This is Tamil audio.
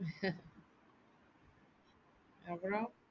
அப்புறம்,